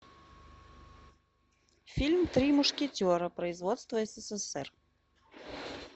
фильм три мушкетера производство ссср